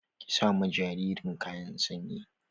Ki sa ma jaririn kayan sanyi!